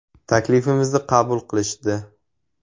“Taklifimizni qabul qilishdi.